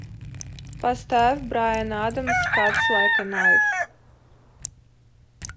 поставь брайан адамс катс лайк э найф